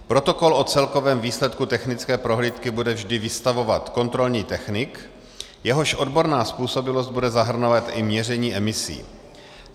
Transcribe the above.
Protokol o celkovém výsledku technické prohlídky bude vždy vystavovat kontrolní technik, jehož odborná způsobilost bude zahrnovat i měření emisí.